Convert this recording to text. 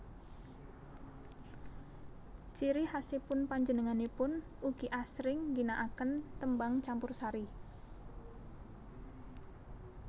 Ciri khasipun panjenenganipun ugi asring ngginaaken tembang campursari